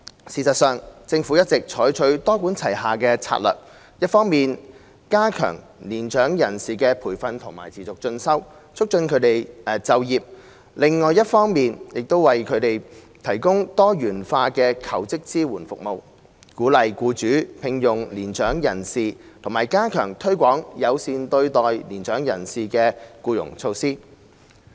事實上，政府一直採取多管齊下策略，一方面加強年長人士的培訓和持續進修，促進他們就業；另一方面亦為他們提供多元化的求職支援服務，鼓勵僱主聘用年長人士，並加強推廣友善對待年長人士的僱傭措施。